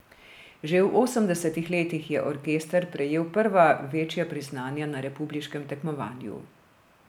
Že v osemdesetih letih je orkester prejel prva večja priznanja na republiškem tekmovanju.